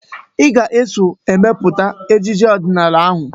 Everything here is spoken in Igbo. Ị ga-eso emepụta ejije ọdịnala ahụ!